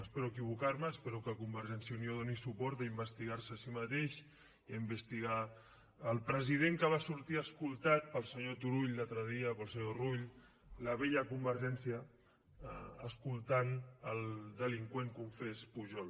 espero equivocar me espero que convergència i unió doni suport a investigar se a si mateix i a investigar el president que va sortir escortat pel senyor turull l’altre dia i pel senyor rull la vella convergència escortant el delinqüent confés pujol